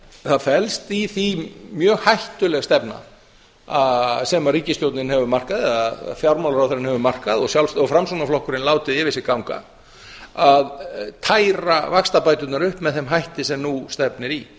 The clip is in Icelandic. það felst í því mjög hættuleg stefna sem ríkisstjórnin hefur markað að fjármálaráðherrann hefur markað og framsóknarflokkurinn látið yfir sig ganga að færa vaxtabæturnar upp með þeim hætti sem nú stefnir í